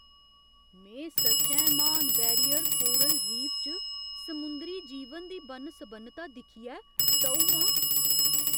में सच्चैं म्हान बैरियर कोरल रीफ च समुंदरी जीवन दी बन्न सबन्नता दिक्खियै टऊ आं।